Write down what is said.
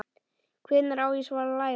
Hvenær á svo að læra?